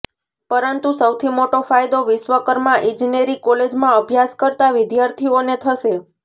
પરંતુ સૌથી મોટો ફાયદો વિશ્વકર્મા ઇજનેરી કોલેજમાં અભ્યાસ કરતાં વિદ્યાર્થીઓને થશે